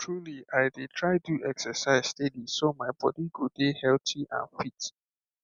truly i dey try do exercise steady so my body go dey healthy and fit